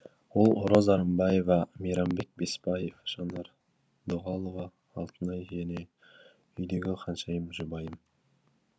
ол роза рымбаева мейрамбек беспаев жанар дұғалова алтынай және үйдегі ханшайым жұбайым